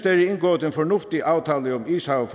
er indgået en fornuftig aftale om ishavet